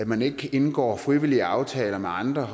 man ikke indgår frivillige aftaler med andre